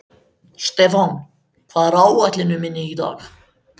Stefán, hvað er á áætluninni minni í dag?